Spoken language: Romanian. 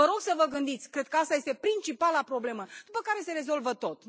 Vă rog să vă gândiți, cred că asta este principala problemă, după care se rezolvă tot.